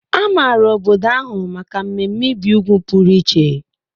A maara obodo ahụ maka mmemme ibi úgwù pụrụ iche.